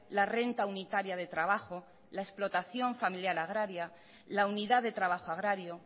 la renta unitaria de trabajo la explotación familiar agraria la unidad de trabajo agrario